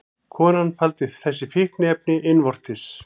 Konan faldi þessi fíkniefni innvortis